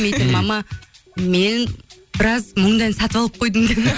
мама мен біраз мұңды ән сатып алып қойдым